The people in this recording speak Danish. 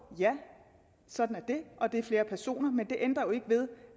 ja sådan er det og der er flere personer men det ændrer jo ikke ved